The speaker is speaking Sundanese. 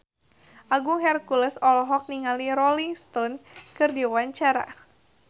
Agung Hercules olohok ningali Rolling Stone keur diwawancara